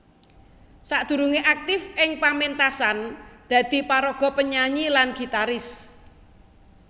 Sakdurungé aktif ing paméntasan dadi paraga penyanyi lan gitaris